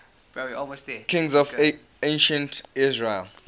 kings of ancient israel